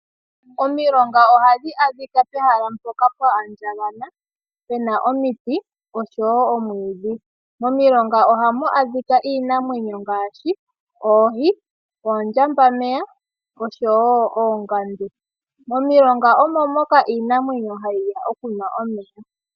Omilonga ohadhi adhika pehala mpoka owa andjagana, puna omiti, noshowo omwiidhi. Momilonga ohamu adhika iinamwenyo ngaashi, oohi, oondjambameya, noshowo oongandu. Momilonga omo moka iinamwenyo hayi ya okunwa omeya.